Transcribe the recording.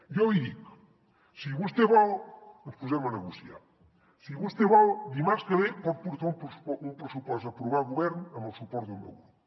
jo li dic si vostè vol ens posem a negociar si vostè vol dimarts que ve pot portar un pressupost a aprovar a govern amb el suport del meu grup